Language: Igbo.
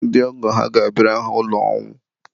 ndị ọgọ ha ga-abịara ha ụlọ ọnwụ.